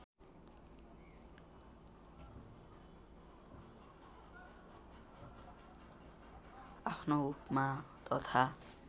आफ्नो उपमा तथा